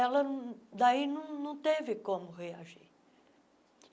Ela não, daí, não não teve como reagir.